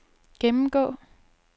gennemgå